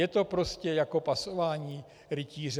Je to prostě jako pasování rytíře.